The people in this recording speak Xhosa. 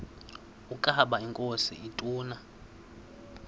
ukaba inkosi ituna